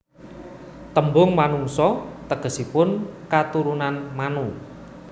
Tembung Manungsa tegesipun katurunan Manu